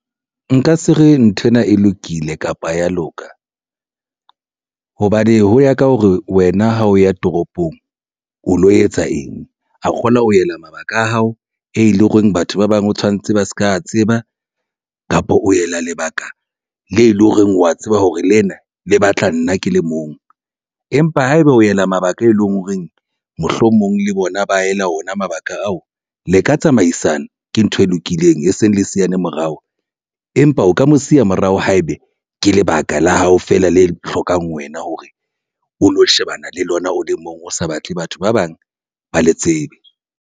Nka se re nthwena e lokile kapa ha ya loka hobane ho ya ka hore wena ha o ya toropong o lo etsa eng kgola ho ela mabaka a hao, e leng hore batho ba bang o tshwanetse ba se ka tseba kapa o ela lebaka le leng hore wa tseba hore lena le batla nna ke le mong. Empa haeba o ela mabaka e leng horeng mohlomong le bona ba ela ona mabaka ao le ka tsamaisana ke ntho e lokileng e seng le se yane morao. Empa o ka mo siya morao haebe ke lebaka la hao fela le hlokang wena hore o lo shebana le lona o le mong o sa batle batho ba bang ba le tsebe.